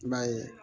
I b'a ye